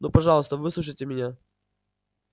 ну пожалуйста выслушайте меня